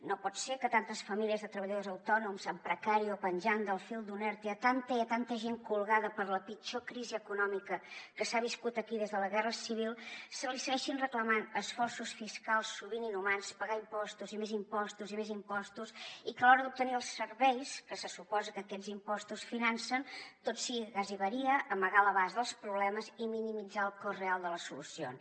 no pot ser que tantes famílies de treballadors autònoms en precari o penjant del fil d’un erte que a tanta i a tanta gent colgada per la pitjor crisi econòmica que s’ha viscut aquí des de la guerra civil se li segueixin reclamant esforços fiscals sovint inhumans pagar impostos i més impostos i més impostos i que a l’hora d’obtenir els serveis que se suposa que aquests impostos financen tot sigui gasiveria amagar l’abast dels problemes i minimitzar el cost real de les solucions